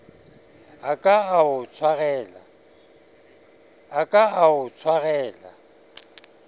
a ka a o tshwarela